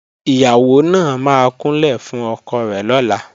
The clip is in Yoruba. Ìyàwó náà máa kúnlẹ̀ fún ọkọ rẹ̀ lọ́la